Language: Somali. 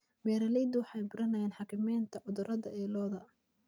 Beeraleydu waxay baranayaan xakameynta cudurrada ee lo'da.